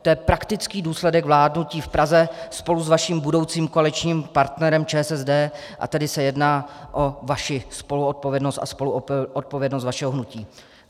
To je praktický důsledek vládnutí v Praze spolu s vaším budoucím koaličním partnerem ČSSD, a tedy se jedná o vaši spoluodpovědnost a spoluodpovědnost vašeho hnutí.